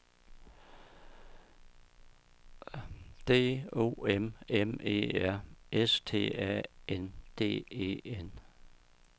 D O M M E R S T A N D E N